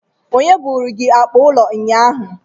Onye buru gi akpa ulo unyanya?